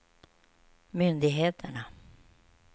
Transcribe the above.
myndigheterna